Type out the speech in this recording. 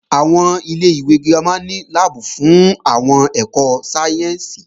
Ilé-ìwé girama ní láàbù fún àwọn ẹ̀kọ́ sáyẹ́ǹsì